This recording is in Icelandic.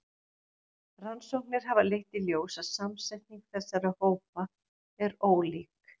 Rannsóknir hafa leitt í ljós að samsetning þessara hópa er ólík.